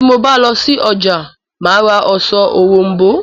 Bí mo bá lọ sí ọjà, mà á ra ọsàn òrom̀bó